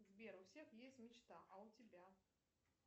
сбер у всех есть мечта а у тебя